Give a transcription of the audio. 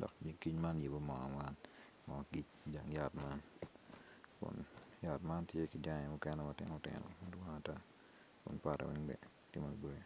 dok nyig kic man giyubo moo i jang yat man kun mukene gitye matinotino.